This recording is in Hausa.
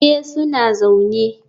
Eh, suna zaune.